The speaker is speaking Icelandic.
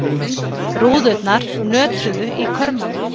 Rúðurnar nötruðu í körmunum.